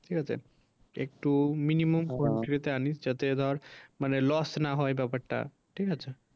ঠিক আছে একটু minimum আনিস যাতে ধর মানে loss না হয় ব্যাপারটা।